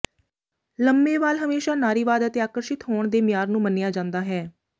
ਲੰਮੇ ਵਾਲ ਹਮੇਸ਼ਾਂ ਨਾਰੀਵਾਦ ਅਤੇ ਆਕਰਸ਼ਿਤ ਹੋਣ ਦੇ ਮਿਆਰ ਨੂੰ ਮੰਨਿਆ ਜਾਂਦਾ ਹੈ